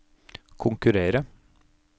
konkurrere